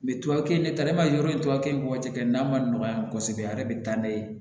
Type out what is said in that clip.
Mɛ tubabukɛ ta i b'a ye yɔrɔ in tubabu tɔgɔ tɛ kɛ n'a ma nɔgɔ yan kosɛbɛ a yɛrɛ bɛ taa n'a ye